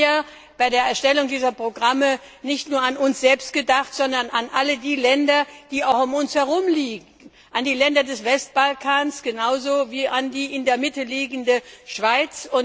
Wir haben ja bei der Erstellung dieser Programme nicht nur an uns selbst gedacht, sondern an alle die Länder in der Nachbarschaft, an die Länder des Westbalkans genauso wie an die in der Mitte liegende Schweiz.